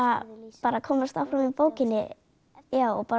bara komast áfram í bókinni og